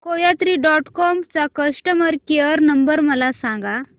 कोयात्री dot com चा customer care number मला सांगा